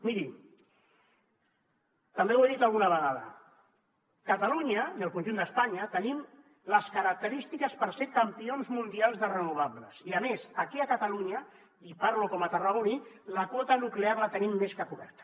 miri també ho he dit alguna vegada catalunya i el conjunt d’espanya tenim les característiques per ser campions mundials de renovables i a més aquí a catalunya i parlo com a tarragoní la quota nuclear la tenim més que coberta